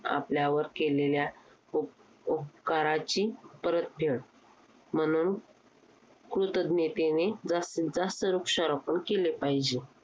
आपल्यावर केलेल्या उपउपकाराची परत फेड म्हणून कृतज्ञतेने जास्तीजास्त वृक्षारोपण केले पाहिजे.